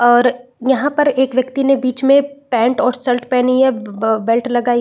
और यहाँ पर एक व्यक्ति ने बिच में पेंट और शर्ट पहनी है आ बेल्ट लगायी --